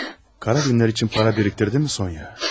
Qara günlər üçün para biriktirdin mi, Sonya?